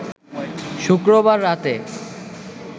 শুক্রবার রাতে